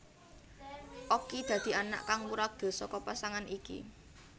Okky dadi anak kang wuragil saka pasangan iki